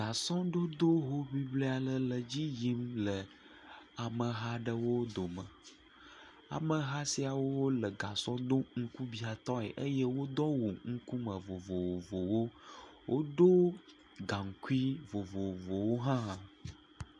Gasɔdoddo hoŋili aɖe le edzi yimle ameha aɖewo dome, ameha siawo le gasɔ dom ŋkubiatɔe eye wodo awu ŋkume vovovowo. Wodo gaŋkui vovovowo hã.